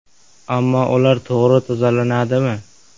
Ammo ular to‘g‘ri tozalanadimi?